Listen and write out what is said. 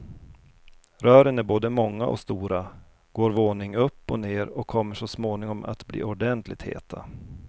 Rören är både många och stora, går våning upp och ner och kommer så småningom att blir ordentligt heta.